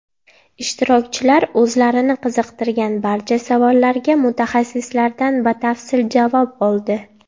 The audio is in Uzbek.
Ishtirokchilar o‘zlarini qiziqtirgan barcha savollarga mutaxassislardan batafsil javob oldi.